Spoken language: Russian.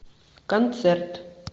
концерт